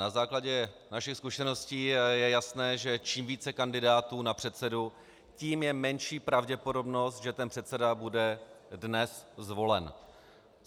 Na základě našich zkušeností je jasné, že čím více kandidátů na předsedu, tím menší je pravděpodobnost, že ten předseda bude dnes zvolen.